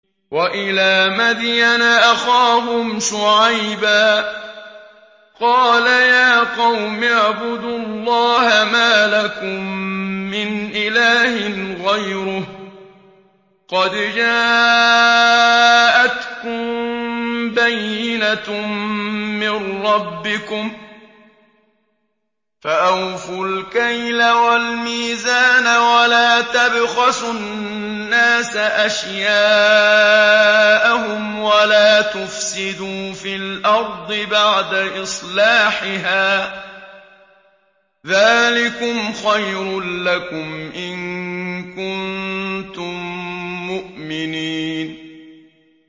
وَإِلَىٰ مَدْيَنَ أَخَاهُمْ شُعَيْبًا ۗ قَالَ يَا قَوْمِ اعْبُدُوا اللَّهَ مَا لَكُم مِّنْ إِلَٰهٍ غَيْرُهُ ۖ قَدْ جَاءَتْكُم بَيِّنَةٌ مِّن رَّبِّكُمْ ۖ فَأَوْفُوا الْكَيْلَ وَالْمِيزَانَ وَلَا تَبْخَسُوا النَّاسَ أَشْيَاءَهُمْ وَلَا تُفْسِدُوا فِي الْأَرْضِ بَعْدَ إِصْلَاحِهَا ۚ ذَٰلِكُمْ خَيْرٌ لَّكُمْ إِن كُنتُم مُّؤْمِنِينَ